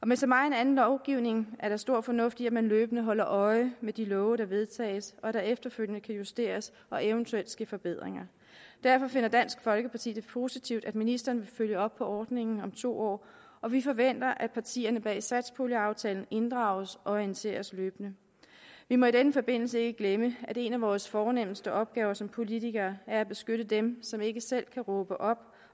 med så megen anden lovgivning er der stor fornuft i at man løbende holder øje med de love der vedtages og at der efterfølgende kan justeres og eventuelt ske forbedringer derfor finder dansk folkeparti det positivt at ministeren vil følge op på ordningen om to år og vi forventer at partierne bag satspuljeaftalen inddrages og orienteres løbende vi må i denne forbindelse ikke glemme at en af vores fornemste opgaver som politikere er at beskytte dem som ikke selv kan råbe op